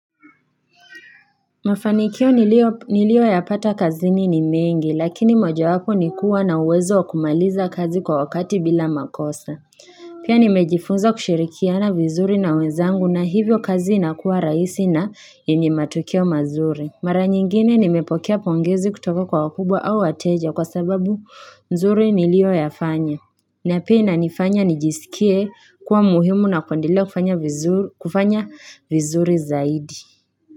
Mafanikio nilioyapata kazini ni mengi lakini mojawapo ni kuwa na uwezo wa kumaliza kazi kwa wakati bila makosa. Pia nimejifunza kushirikiana vizuri na wenzangu na hivyo kazi inakuwa rahisi na yenye matokeo mazuri. Mara nyingine nimepokea pongezi kutoka kwa wakubwa au wateja kwa sababu nzuri nilioyafanya. Na pia inanifanya nijisikie kuwa muhimu na kuendelea kufanya vizuri zaidi.